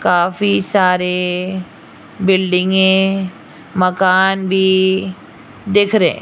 काफी सारे बिल्डिंगे मकान भी देख रहें --